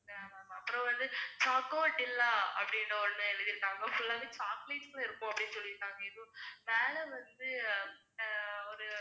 அப்புறம் வந்து, chocodilla அப்படின்னு ஒண்ணு எழுதிருந்தாங்க full ஆவே chocolate ல இருக்கும் அப்படின்னு சொல்லிருந்தாங்க எதோ மேல வந்து ஒரு